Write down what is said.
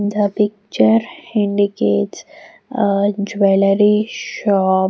The picture indicates a jewelry shop.